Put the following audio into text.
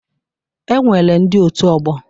E nwere ndị otu ọgbọ.